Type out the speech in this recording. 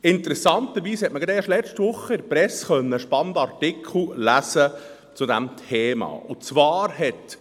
Interessanterweise hat man letzte Woche in der Presse einen spannenden Artikel zu diesem Thema lesen können.